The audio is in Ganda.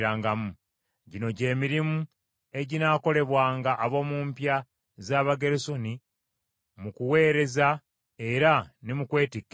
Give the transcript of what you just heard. “Gino gye mirimu eginaakolebwanga ab’omu mpya z’Abagerusoni mu kuweereza era ne mu kwetikka emigugu: